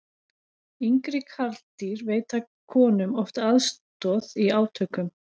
yngri karldýr veita honum oft aðstoð í átökum